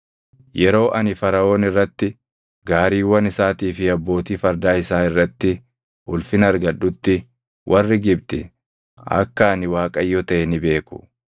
Yeroo ani Faraʼoon irratti, gaariiwwan isaatii fi abbootii fardaa isaa irratti ulfina argadhutti warri Gibxi akka ani Waaqayyo taʼe ni beeku.”